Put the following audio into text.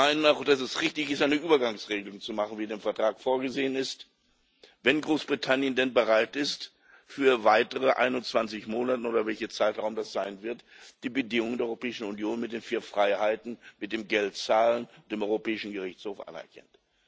Wir meinen auch, dass es richtig ist, eine Übergangsregelung zu finden, wie es im Vertrag vorgesehen ist, wenn Großbritannien denn bereit ist, für weitere 21 Monate oder welcher Zeitraum das auch immer sein wird die Bedingungen der Europäischen Union mit den vier Freiheiten, mit dem Geldzahlen und mit dem Europäischen Gerichtshof anerkennt.